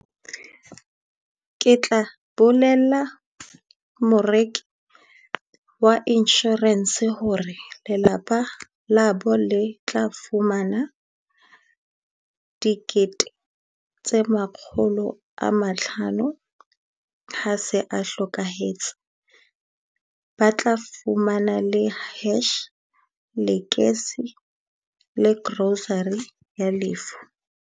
Ke tla bolella moreki wa insurance hore lelapa la bo le tla fumana dikete tse makgolo a mahlano ha se a hlokahetse. Ba tla fumana le hearse, lekese le grocery ya lefu.